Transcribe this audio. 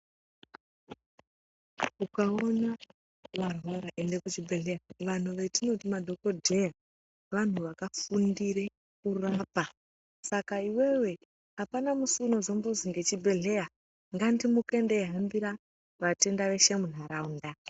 Ukaona warwara ende kuchibhedhleya vanhu vetinoti madhokodhee vanhu vakafundire kurapa saka iwewe apana musi unozombozi ngechibhedhleya ngandimuke ndeihambira vatenda veshe muntaraunda.